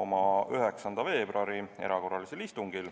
oma 9. veebruari erakorralisel istungil.